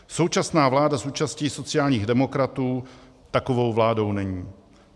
Současná vláda s účastí sociálních demokratů takovou vládou není.